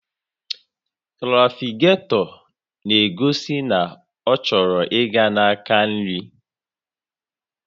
Trafiketọ na-egosi na ọ chọrọ ịga na-aka nri